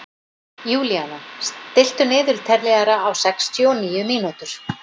Júlíana, stilltu niðurteljara á sextíu og níu mínútur.